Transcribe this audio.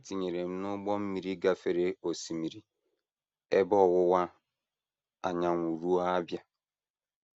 E tinyere m n’ụgbọ mmiri gafere Osimiri Ebe Ọwụwa Anyanwụ ruo Abia.